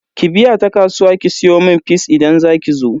Ki biya ta kasuwa ki siyomun fis idan zakizo.